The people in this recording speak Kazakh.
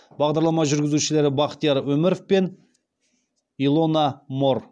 бағдарлама жүргізушілері бахтияр өміров пен илона моор